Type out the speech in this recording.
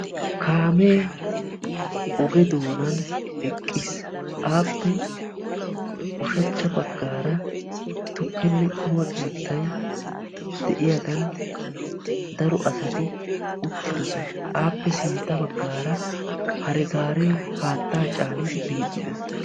Kaame oge doonan eqqiis. appe ushshachcha baggaara tukkenne quma keettay de'iyaagan daro asati uttidoosona. Appe sintta baggaara hare gaare haatta caanidi biidi dees.